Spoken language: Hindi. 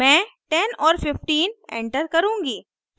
मैं 10 और 15 एंटर करुँगी